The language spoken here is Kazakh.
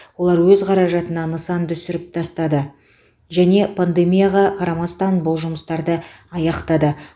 олар өз қаражатына нысанды сүріп тастады және пандемияға қарамастан бұл жұмыстарды аяқтады